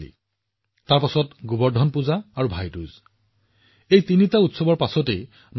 দেৱালী তাৰ পিছত গোবৰ্ধন পূজা তাৰ পিছত ভাই দুজ এই তিনিটা উৎসৱ হব তাৰ পিছত ষঠ পূজাও অনুষ্ঠিত হব